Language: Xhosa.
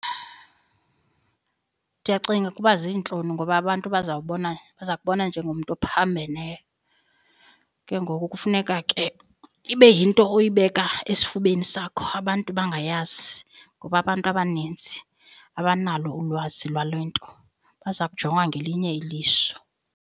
Ndiyacinga ukuba ziintloni ngoba abantu bazawubona, baza kubona njengomntu ophambeneyo. Ke ngoku kufuneka ke ibe yinto oyibeka esifubeni sakho abantu bangayazi ngoba abantu abaninzi abanalo ulwazi lwale nto, baza kujonga ngelinye iliso.